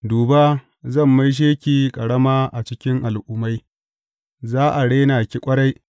Duba, zan maishe ki ƙarama a cikin al’ummai; za a rena ki ƙwarai.